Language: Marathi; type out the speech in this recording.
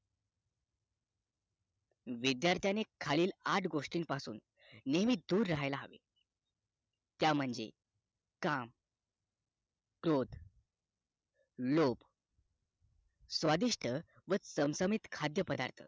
विद्यार्थ्याने खालील आठ गोष्टी पासून नेहमी दूर राहायला हवे त्या म्हणजे काम क्रोध लोभ स्वादिष्ट व चमचमीत खाद्य पदार्थ